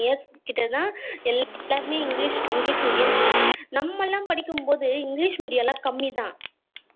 கிட்ட தான் எல்லாருமே english english medium சொல்லுறாங்க நம்மலாம் படிக்கும் போது english medium லாம் கம்மிதான்